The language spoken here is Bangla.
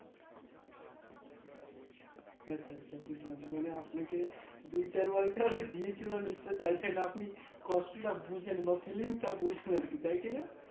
আচ্ছা আচ্ছা বুজলাম মানে আপনাকে দু চার বাড়িটা দিয়েছিল নিশ্চই থেকে আপনি কষ্টটা বুঝেন বা Fillings টা বুঝবেন তাই কি না